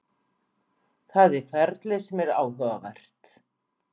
Það er ferlið sem er áhugavert.